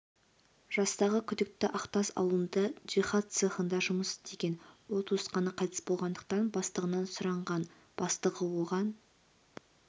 жастағы күдікті ақтас ауылында жиһаз цехында жұмыс істеген ол туысқаны қайтыс болғандықтан бастығынан сұранған бастығы оған